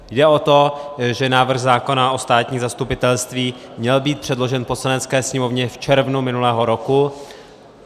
Jde o to, že návrh zákona o státním zastupitelství měl být předložen Poslanecké sněmovně v červnu minulého roku.